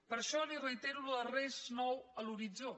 per això li reitero això de res nou a l’horitzó